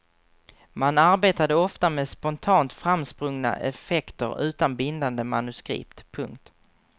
Man arbetade ofta med spontant framsprungna effekter utan bindande manuskript. punkt